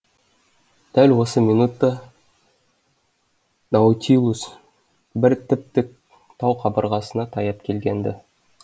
дәл осы минутта наутилус бір тіп тік тау қабырғасына таяп келген ді